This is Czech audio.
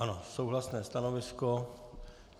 Ano, souhlasné stanovisko.